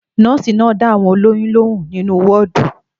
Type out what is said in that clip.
Nọ́ọ́sì náà dá àwọn olóyún lóhùn nínú wọọdù